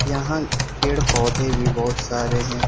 यहां पेड़ पौधे भी बहोत सारे हैं।